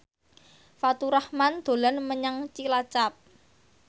Faturrahman dolan menyang Cilacap